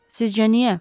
Sizcə niyə?